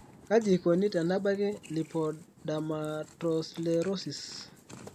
kaji eikoni tenebaki lipodermatoslerosis?